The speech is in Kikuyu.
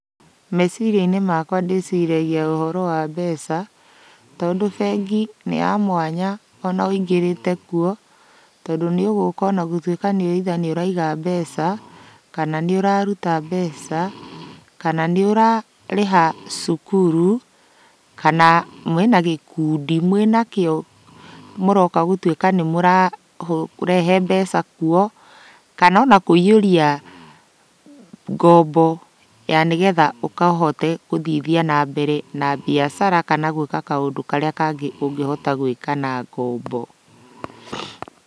Meciria-inĩ makwa ndĩciragia ũhoro wa mbeca, tondũ bengi nĩ ya mwanya ona wĩingĩrĩte kuo, tondũ nĩũgũka onagũtuĩka either nĩũraiga mbeca kana nĩũraruta mbeca, kana nĩũrarĩha cukuru, kana mwĩna gĩkundi mwĩnakĩo mũroka gũtuĩka nĩmũrarehe mbeca kuo, kana ona kũiyũria ngombo ya nĩgetha ũkahote gũthithia na mbere na mbiacara kana gwĩka kaũndũ karĩa kangĩ ũngĩhota gwĩka na ngombo.